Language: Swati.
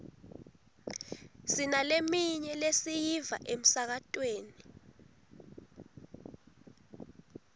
sinaleminye lesiyiva emsakatweni